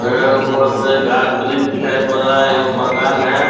अम ऊपर से गाँछ वृक्ष दिखाई पड़ रहा है एगो मकान है।